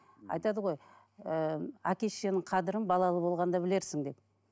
айтады ғой ііі әке шешенің қадірін балалы болғанда білерсің деп